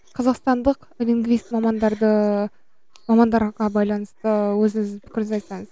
қазақстандық лингвист мамандарды мамандарға байланысты өзіңіздің пікіріңізді айтсаңыз